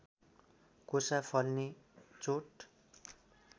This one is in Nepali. कोसा फल्ने चोट